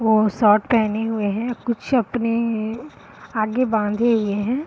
वो शर्ट पहने हुए है कुछ अपने आगे बाँधे हुए है।